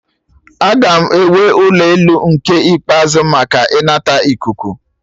Aga m ewe ụlọ elu nke ikpeazụ maka ịnata ikuku